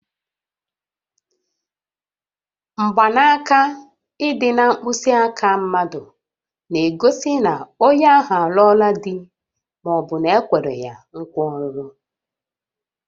Mgbanaka ịdị na mkpịsị aka mmadụ na-egosi na onye ahụ alụọla di ma ọ bụ na-ekwere ya nkwa ọlụlụ